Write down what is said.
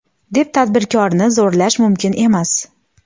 deb tadbirkorni zo‘rlash mumkin emas.